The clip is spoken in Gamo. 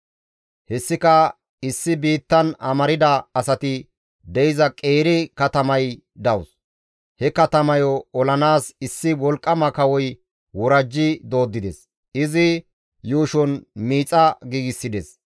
Hessika issi biittan amarda asati de7iza qeeri katamay dawus; he katamayo olanaas issi wolqqama kawoy worajji dooddides; izi yuushon miixa giigsides.